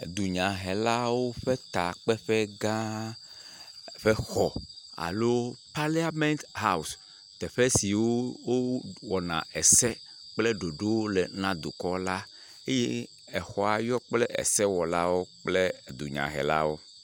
Dunyahelawo ƒe takpeƒe gã ƒe xɔ alo paliamet hawɔsi. Teƒe si wowɔna ese kple ɖoɖowo le na dukɔ la eye exɔa yɔ kple esewɔlawo kple dunyahelawo.